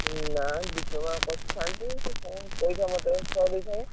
ନା diploma କରିଥାନ୍ତି କଣ, ପଇସା ମଝିରେ short ହେଇଥିଲା।